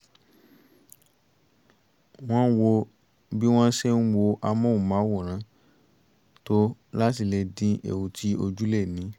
wọ́n wo bí wọ́n ṣe ń wo amóhùnmáwòrán tó láti lè dín ewu tí ojú lè ní